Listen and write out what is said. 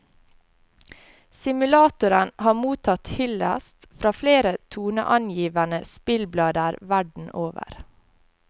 Simulatoren har mottatt hyldest fra flere toneangivende spillblader verden over.